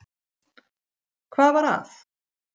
Hvað var að?